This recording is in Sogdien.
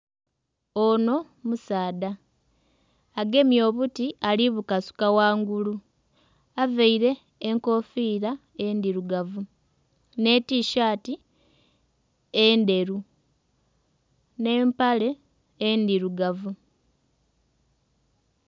Ono musaadha agemye obuti ali bukasuka ghangulu avaire enkofira endhirugavu n'etishati endheru n'empale endhirugavu.